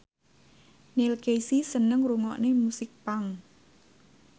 Neil Casey seneng ngrungokne musik punk